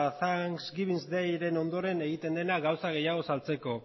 thanks giving dayren ondoren egiten dena gauza gehiago saltzeko